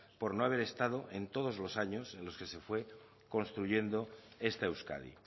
por no haber estado en todos los años en los que se fue construyendo esta euskadi